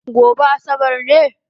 Gobe asabar ne?